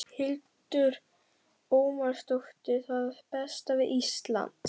Hildur Ómarsdóttir: Það besta við Ísland?